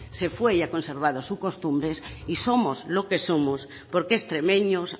se fue y ha conservado sus costumbres y somos lo que somos porque extremeños